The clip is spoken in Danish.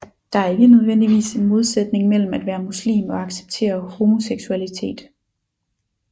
Der er ikke nødvendigvis en modsætning mellem at være muslim og acceptere homoseksualitet